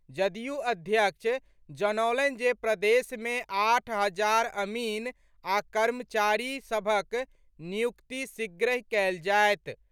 जदयू अध्यक्ष जनौलनि जे प्रदेश मे आठ हजार अमीन आ कर्मचारी सभक नियुक्ति शीघ्रहि कएल जाएत।